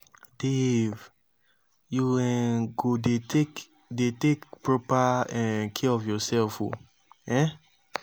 dave you um go dey take dey take proper um care of yourself oo um.